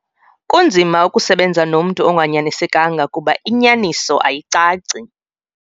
Kunzima ukusebenza nomntu onganyanisekanga kuba inyaniso ayicaci.